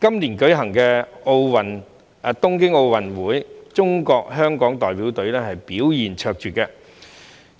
今年舉行的東京奧運會，中國香港代表隊表現卓越，